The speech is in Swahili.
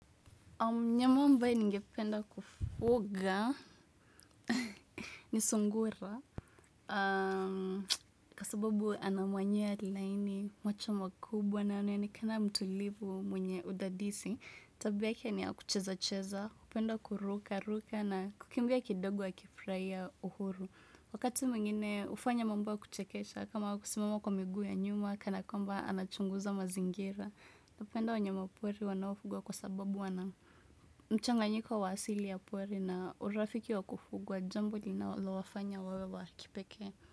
Mnyama ambaye ningependa kufuga ni sungura Kwa sababu ana manyoa laini, macho makubwa na anaonekana mtulivu mwenye udadisi Tabiake ni ya kuchezacheza, hupenda kurukaruka na kukimbia kidogo akifurahia uhuru Wakati mwingine hufanya mambo ya kuchekesha kama kusimama kwa miguu ya nyuma Kana kwamba anachunguza mazingira napenda wanyamapori wanaofugwa kwa sababu wana mchanganyiko wa asili ya pori na urafiki wa kufugwa Jambo linalowafanya wawe wa kipekee.